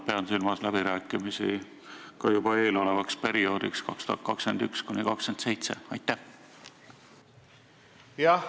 Pean silmas juba läbirääkimisi eeloleva perioodi 2021–2027 üle.